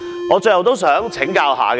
我最後想請教一下各位。